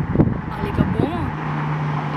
Ali ga bomo?